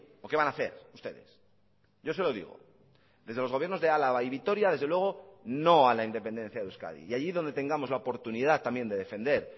o qué van a hacer ustedes yo se lo digo desde los gobiernos de álava y vitoria desde luego no a la independencia de euskadi y allí donde tengamos la oportunidad también de defender